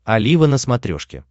олива на смотрешке